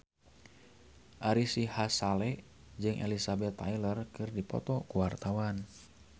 Ari Sihasale jeung Elizabeth Taylor keur dipoto ku wartawan